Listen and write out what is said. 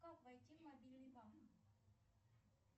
как войти в мобильный банк